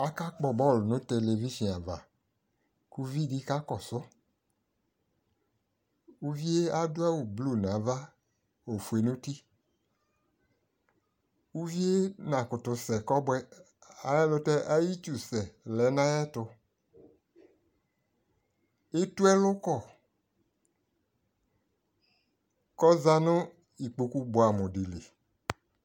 aka gbɔ ball nʋ television aɣa kʋ ʋvidi ka kɔsʋ, ʋviɛ adʋ awʋ blue nʋ aɣa, ɔƒʋɛ nʋ ʋti, ʋviɛ nakʋtʋ sɛ kɔbʋɛ ayi ɛlʋtɛ ayi itsʋ sɛ lɛnʋ ayɛtʋ ,ɛtʋ ɛlʋ kɔ kʋ ɔzanʋ ikpɔkʋ bʋamʋ dili